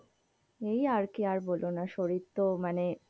এই আর কি আর বলো না শরীর তো মানে,